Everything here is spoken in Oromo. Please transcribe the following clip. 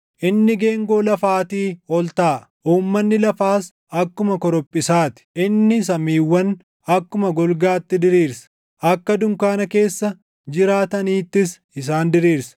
Inni geengoo lafaatii ol taaʼa; uummanni lafaas akkuma korophisaa ti. Inni samiiwwan akkuma golgaatti diriirsa; akka dunkaana keessa jiraataniittis isaan diriirsa.